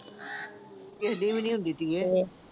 ਐਡੀ ਵੀ ਨੀਂ ਹੁੰਦੀ ਚੀਜ਼